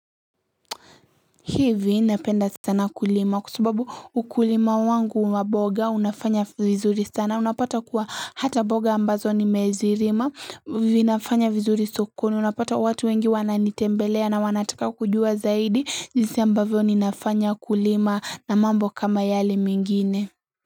Hivi napenda sana kulima kwa sababu ukulima wangu wamboga unafanya vizuri sana unapata kuwa hata mboga ambazo ni mezilima vinafanya vizuri sokoni unapata watu wengi wananitembelea na wanataka kujua zaidi jinsi ambavyo ninafanya kulima na mambo kama yale mengine.